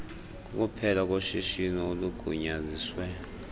kukuphela koshishino olugunyaziswe